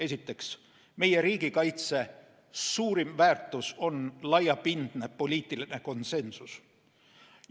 Esiteks, meie riigikaitse suurim väärtus on laiapindne poliitiline konsensus.